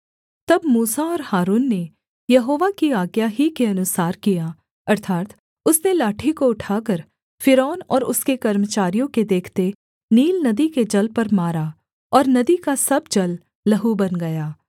तब मूसा और हारून ने यहोवा की आज्ञा ही के अनुसार किया अर्थात् उसने लाठी को उठाकर फ़िरौन और उसके कर्मचारियों के देखते नील नदी के जल पर मारा और नदी का सब जल लहू बन गया